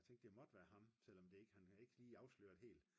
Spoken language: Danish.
og jeg tænkte det måtte være ham selvom han havde ikke lige afsløret helt